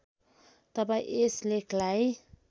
तपाईँ यस लेखलाई